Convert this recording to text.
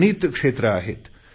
अगणित क्षेत्र आहेत